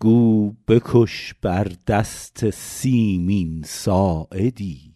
گو بکش بر دست سیمین ساعدی